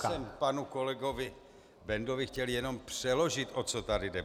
Já jsem panu kolegovi Bendovi chtěl jenom přeložit, o co tady jde.